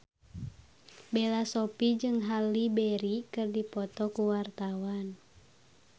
Bella Shofie jeung Halle Berry keur dipoto ku wartawan